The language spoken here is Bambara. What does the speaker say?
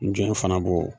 N jɔ fana b'o